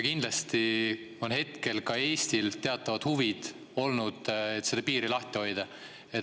Kindlasti on hetkel ka Eestil teatavad huvid olnud, et seda piiri lahti hoida.